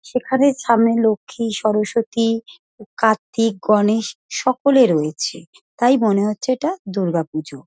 সেখানে সামনে লক্ষ্মী সরস্বতী কার্তিক গণেশ সকলে রয়েছে। তাই মনে হচ্ছে এটা দুর্গাপুজো।